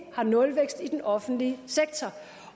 har nulvækst i den offentlige sektor